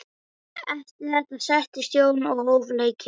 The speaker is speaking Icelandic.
Eftir þetta settist Jón og hóf leikinn.